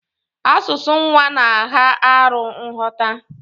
Asụsụ nwa na agha arụ nghọta.